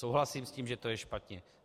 Souhlasím s tím, že to je špatně.